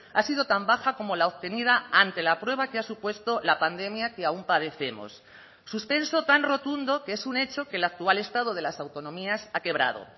ha sido tan baja como la obtenida ante la prueba que ha supuesto la pandemia que aún padecemos suspenso tan rotundo que es un hecho que el actual estado de las autonomías ha quebrado